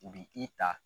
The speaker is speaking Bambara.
U bi i ta